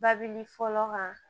Babili fɔlɔ kan